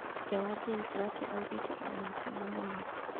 Ithe wa James lucky augĩte arĩ mũkeni mũno.